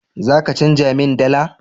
Za ka canja min dala?